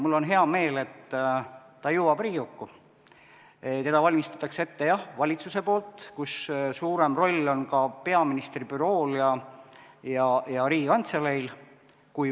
Mul on hea meel, et ta jõuab Riigikokku, teda valmistatakse ette jah valitsuses, suurem roll kui varem on ka peaministri bürool ja Riigikantseleil.